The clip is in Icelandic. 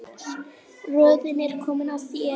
Röðin er komin að þér.